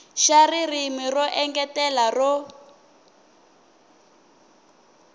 xa ririmi ro engetela ro